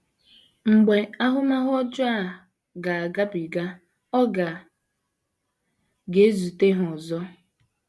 Mgbe ahụmahụ ọjọọ a ga - agabiga, ọ ga - ga - ezute ha ọzọ.